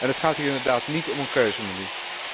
En het gaat hier inderdaad niet om een keuzemenu.